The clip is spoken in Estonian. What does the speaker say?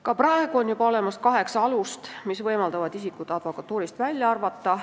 Ka praegu on juba olemas kaheksa alust, mis võimaldavad isikut advokatuurist välja arvata.